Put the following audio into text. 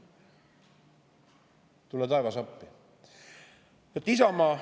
Tule taevas appi!